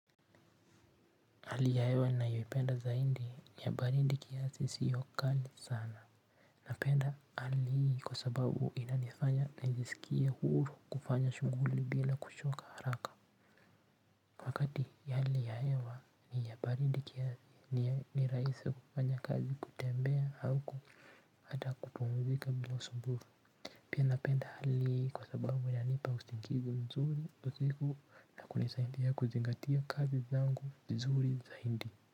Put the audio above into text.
Hali ya hewa ninayoipenda zaindi ni ya barindi kiasi sio kali sana napenda hali hii kwa sababu inanifanya nijisikie huru kufanya shuguli bila kushoka haraka wakati hali ya hewa ni ya baridi kiasi ni rahisi kufanya kazi kutembea au hata kupumuzika bila usumbufu pia napenda hali hii kwa sababu inanipa usingizi mzuri usiku na kunisaidia kuzingatia kazi zangu vizuri zaidi.